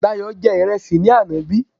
Dayò jẹ ìrẹsì ní àná bí?